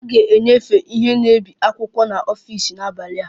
A ga-enyefe ihe na-ebi akwụkwọ n'ọfịs n'abalị a